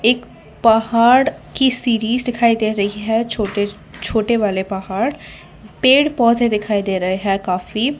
एक पहाड़ की सीरीज दिखाई दे रही है छोटे छोटे वाले पहाड़ पेड़ पौधे दिखाई दे रहे हैं काफी --